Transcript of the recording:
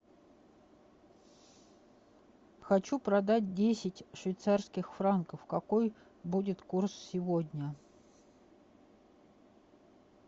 хочу продать десять швейцарских франков какой будет курс сегодня